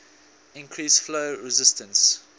increase flow resistance